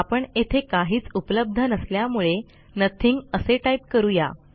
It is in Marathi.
आपण येथे काहीच उपलब्ध नसल्यामुळे नथिंग असे टाईप करू या